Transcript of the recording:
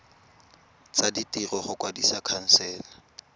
tsa ditiro go kwadisa khansele